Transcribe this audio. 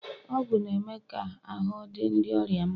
ọgwụ na-eme ka ahụ́ dị ndị ọrịa mma